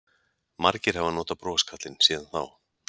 Margir hafa notað broskarlinn síðan þá.